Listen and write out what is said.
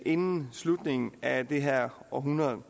inden slutningen af det her århundrede